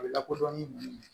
A bɛ lakodɔn ni mun ye